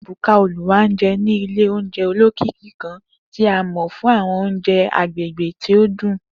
Ebuka, Oluwanje, ni ile ounjẹ olokiki kan ti a mọ fun awọn ounjẹ agbegbe ti o dun.